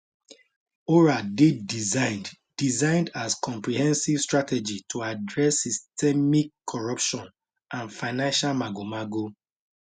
oral dey designed designed as comprehensive strategy to address systemic corruption and financial magomago